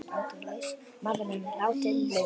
Maðurinn látinn laus